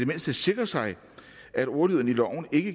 mindste sikre sig at ordlyden i loven ikke